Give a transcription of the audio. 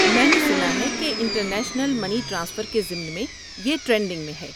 میں نے سنا ہے کہ انٹر نیشنل منی ٹرانسفر کے ضمن میں یہ ٹرینڈنگ میں ہے۔